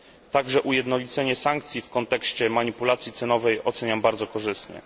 Także ujednolicenie sankcji w kontekście manipulacji cenowej oceniam bardzo korzystnie.